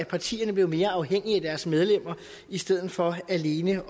partierne blev mere afhængige af deres medlemmer i stedet for alene